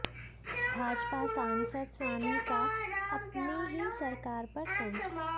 भाजपा सांसद स्वामी का अपनी ही सरकार पर तंज